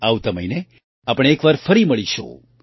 આગલા મહિને આપણે એક વાર ફરી મળીશું